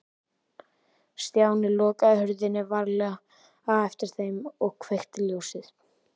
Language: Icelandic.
Stjáni lokaði hurðinni varlega á eftir þeim og kveikti ljósið.